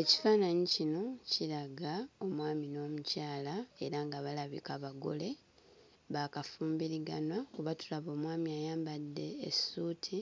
Ekifaananyi kino kiraga omwami n'omukyala era nga balabika bagole baakafumbiriganwa kuba tulaba omwami ayambadde essuuti